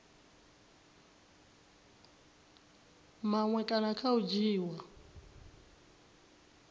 maṅwe kana kha u dzhiiwa